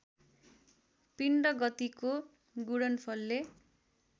पिण्ड गतिको गुणनफलले